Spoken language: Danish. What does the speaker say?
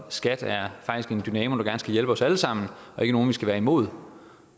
og skat er faktisk en dynamo der gerne skulle hjælpe os alle sammen og ikke nogen vi skal være imod